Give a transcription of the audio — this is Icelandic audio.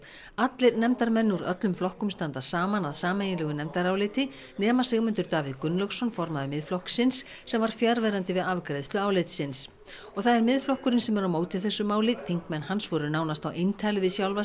allir nefndarmenn úr öllum flokkum standa saman að sameiginlegu nefndaráliti nema Sigmundur Davíð Gunnlaugsson formaður Miðflokksins sem var fjarverandi við afgreiðslu álitsins og það er Miðflokkurinn sem er á móti þessu máli þingmenn hans voru nánast á eintali við sjálfa